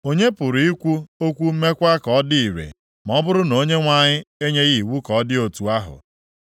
Onye pụrụ ikwu okwu mekwa ka ọ dị ire ma ọ bụrụ na Onyenwe anyị enyeghị iwu ka ọ dị otu ahụ?